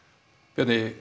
Bjarni